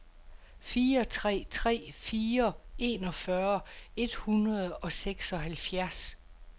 fire tre tre fire enogfyrre et hundrede og seksoghalvfjerds